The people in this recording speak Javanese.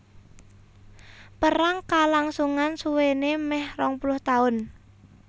Perang kalangsungan suwéné mèh rong puluh taun